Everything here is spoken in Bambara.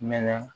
Mɛ na